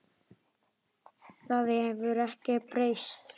Það hefur ekkert breyst.